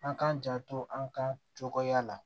An k'an janto an ka cogoya la